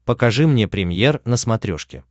покажи мне премьер на смотрешке